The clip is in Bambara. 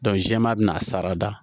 jɛɛma bɛn'a sarada